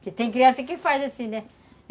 Porque tem criança que faz assim, né?